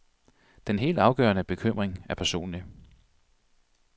Den helt afgørende bekymring er personlig.